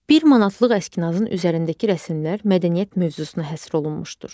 Bir manatlıq əskinasın üzərindəki rəsmlər mədəniyyət mövzusuna həsr olunmuşdur.